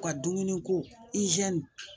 U ka dumuni ko